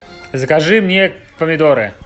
закажи мне помидоры